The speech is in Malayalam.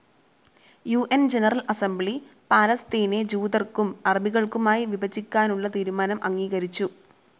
യു ന്‌ ജനറൽ അസംബ്ലി പാലസ്തീനെ ജൂതർക്കും അറബികൾക്കുമായി വിഭജിക്കുവാനുള്ള തീരുമാനം അംഗീകരിച്ചു.